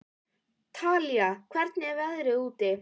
Talía, hvernig er veðrið úti?